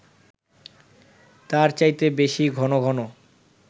তার চাইতে বেশি ঘন ঘন